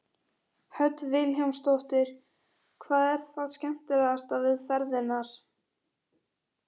Hödd Vilhjálmsdóttir: Hvað er það skemmtilegasta við ferðirnar?